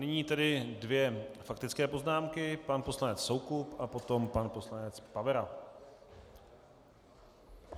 Nyní tedy dvě faktické poznámky, pan poslanec Soukup a potom pan poslanec Pavera.